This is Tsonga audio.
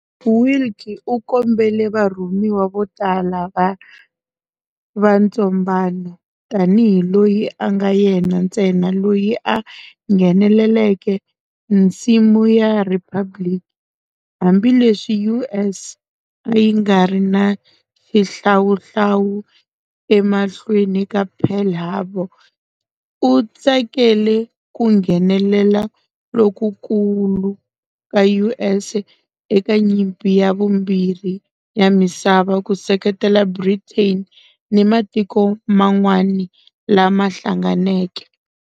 Willkie u kombele varhumiwa vo tala va ntsombano tanihi loyi a nga yena ntsena loyi a ngheneleke nsimu ya Riphabliki-hambileswi US a yi nga ri na xihlawuhlawu emahlweni ka Pearl Harbor, u tsakele ku nghenelela lokukulu ka US eka Nyimpi ya Vumbirhi ya Misava ku seketela Britain ni matiko man'wana lama hlanganeke.